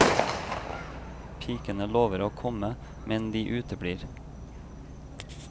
Pikene lover å komme, men de uteblir.